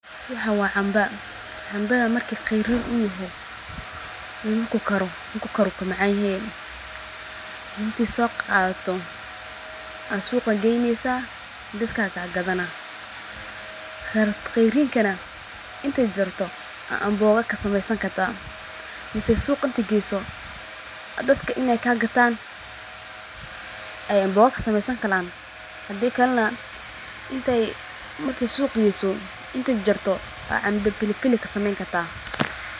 Waxan waa camba, cambaha marku qeyrin uyahay iyo marku karo, marku karo ayu ka macaan yehe, intad soo qadato ad suqa geyneysa dadka ka gadanah, qeyrinkana inti jirto aa amboga kasameeysan karta mise syq inti geyso dadka ini kaa gaatan ay amboga kasameeyn San karaan hadii kale na marki suq geyso inti jarjarto aa camba pilipili kasameeyn karta